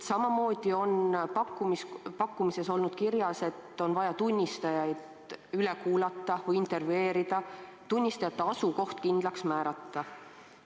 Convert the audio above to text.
Samamoodi on pakkumises olnud kirjas, et on vaja tunnistajad üle kuulata või neid intervjueerida, tunnistajate asukoht kindlaks määrata.